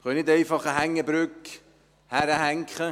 Wir können nicht einfach eine Hängebrücke hinhängen.